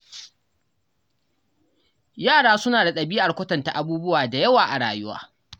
Yara suna da ɗabi'ar kwatanta abubuwa da yawa a rayuwa.